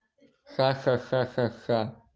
ха ха ха ха ха